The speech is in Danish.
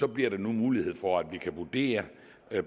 bliver der nu mulighed for at vi kan vurdere